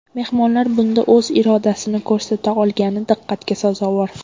Mehmonlar bunda o‘z irodasini ko‘rsata olgani diqqatga sazovor.